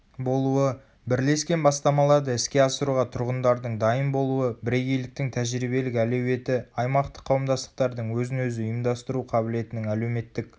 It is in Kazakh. болуы.бірлескен бастамаларды іске асыруға тұрғындардың дайын болуы бірегейліктің тәжірибелік әлеуеті аймақтық қауымдастықтардың өзін-өзі ұйымдастыру қабілетінің әлеуметтік